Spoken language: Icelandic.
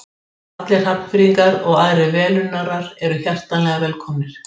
Allir Hafnfirðingar og aðrir velunnarar eru hjartanlega velkomnir!